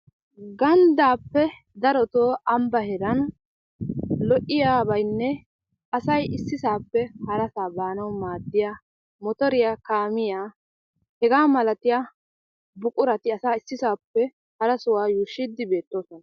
Ganddaappe darotoo ambba heeran lo'iyabaynne asay issisaappe harasaa baanawu maaddiya motoriya, kaamiya hegaa malatiya buqurati asay issisaappe hara sohuwa yuushshiiddi beettoosona.